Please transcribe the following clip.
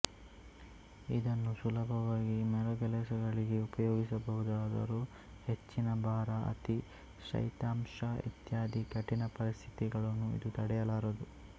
ಇದನ್ನು ಸುಲಭವಾಗಿ ಮರಗೆಲಸಗಳಿಗೆ ಉಪಯೋಗಿಸಬಹುದಾದರೂ ಹೆಚ್ಚಿನ ಭಾರ ಅತಿ ಶೈತ್ಯಾಂಶ ಇತ್ಯಾದಿ ಕಠಿಣ ಪರಿಸ್ಥಿತಿಗಳನ್ನು ಇದು ತಡೆಯಲಾರದು